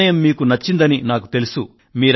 నా నిర్ణయం మీకు నచ్చిందని నాకు తెలుసు